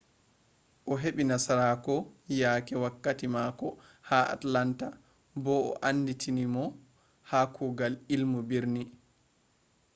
o'hebi nasarako yake wakkati mako ha atlanta bo be anditiri mo ha kugal ilmu birni